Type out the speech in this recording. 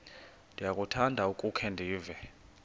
ndiyakuthanda ukukhe ndive